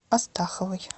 астаховой